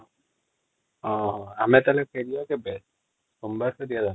ହଁ ଆମେ ତାହେଲେ ଫହଏରିବା କେବେ ସୋମବାର ତ |